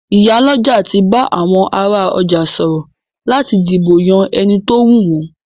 Ìyálọ́jà ti bá àwọn ará ọjà sọ̀rọ̀ láti dìbò yán ẹni tówù wọn.